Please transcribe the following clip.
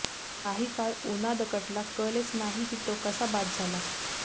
काही काळ उनादकटला कळलेच नाही की तो कसा बाद झाला